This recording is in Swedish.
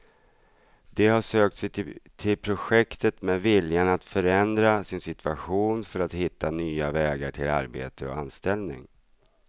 De har sökt sig till projektet med viljan att förändra sin situation för att hitta nya vägar till arbete och anställning.